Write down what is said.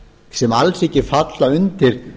sem alls ekki falla undir